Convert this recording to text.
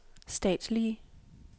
statslige